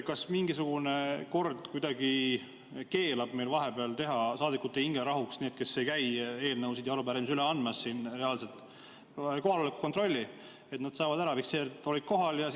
Kas mingisugune kord kuidagi keelab meil vahepeal teha saadikute hingerahuks – nendele, kes ei käi siin eelnõusid ja arupärimisi üle andmas – kohaloleku kontrolli, et nad saaksid ära fikseeritud, et olid kohal?